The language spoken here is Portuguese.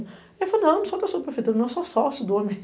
Ele falou, não, não sou da subprefeitura, não sou sócio do AMI.